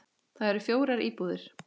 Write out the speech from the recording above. Þar eru fjórar íbúðir.